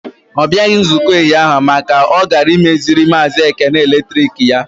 Ọ bịaghị nzukọ ụnyaahụ maka na ọ gara imeziri maazi Ekene eletrik ya.